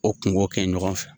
O kungo kɛ ɲɔgɔn fɛ